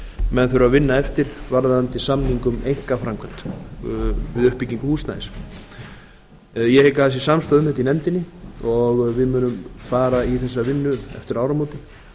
menn þurfa að vinna eftir varðandi samning um einkaframkvæmd við uppbyggingu húsnæðis ég hygg að það sé samstaða um þetta í nefndinni og við munum fara í þá vinnu eftir áramótin